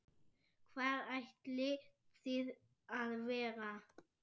Hvar ætlið þið að vera?